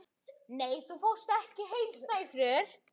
Er það ekki ósköp erfitt?